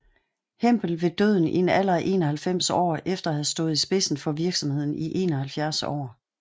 Hempel ved døden i en alder af 91 år efter at have stået i spidsen for virksomheden i 71 år